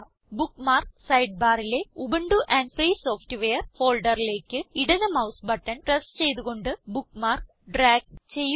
bookmarks Sidebarലെ Ubuntu and free software ഫോൾഡറിലേക്ക് ഇടത് മൌസ് ബട്ടൺ പ്രസ് ചെയ്ത് കൊണ്ട് ബുക്ക്മാർക്ക് ഡ്രാഗ് ചെയ്യുക